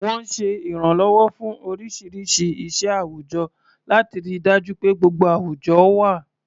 Wọ́n ń ṣe ìrànlọ́wọ́ fún oríṣiríṣi iṣẹ́ àwùjọ, láti rí i dájú pé gbogbo àwùjọ wà.